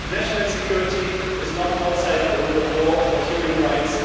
National security is not outside the rule of law or human rights.